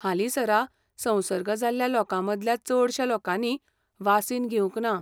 हालींसरा संसर्ग जाल्ल्या लोकांमदल्या चडश्या लोकांनी वासीन घेवंक ना.